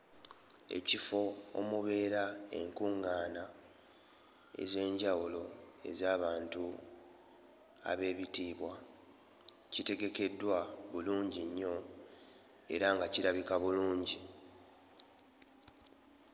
Ekifo omubeera enkuŋŋaana ez'enjawulo ez'abantu abeebitiibwa kitegekeddwa bulungi nnyo era nga kirabika bulungi.